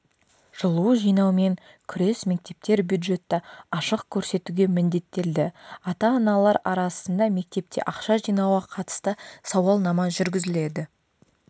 жылу жинаумен күрес мектептер бюджетті ашық көрсетуге міндеттелді ата-аналар арасында мектепте ақша жинауға қатысты сауалнама жүргізіледі